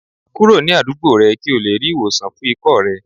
Kuro ni adugbo rẹ ki o le ri iwosan fun ikọ́ rẹ